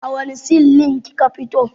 A wanne sin lin kika fito?